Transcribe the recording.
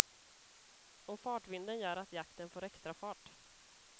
Och fartvinden gör att jakten får extra fart.